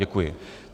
Děkuji.